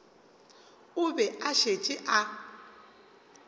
o be a šetše a